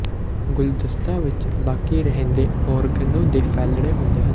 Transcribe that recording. ਗੁਲਦਸਤਾ ਵਿਚ ਬਾਕੀ ਰਹਿੰਦੇ ਓਰੇਗਨੋ ਦੇ ਫੈਲਣੇ ਹੁੰਦੇ ਹਨ